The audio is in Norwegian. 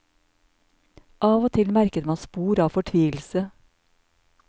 Av og til merket man spor av fortvilelse.